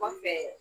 Kɔfɛ